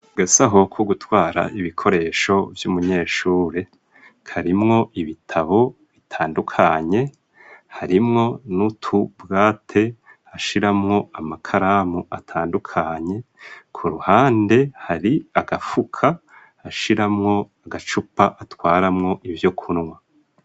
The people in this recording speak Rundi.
Agasaho ko gutwara ibikoresho vy'umunyeshuri karimwo ibitabo bitandukanye harimwo n'utubwate hashiramwo amakaramu atandukanye ku ruhande hari agafuka hashiramwo agacupa atwaramwo ivyo kunwa.